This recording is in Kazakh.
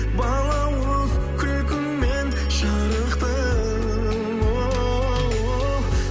балауыз күлкінмен жарықты оу